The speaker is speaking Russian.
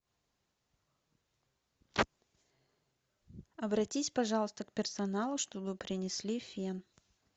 обратись пожалуйста к персоналу чтобы принесли фен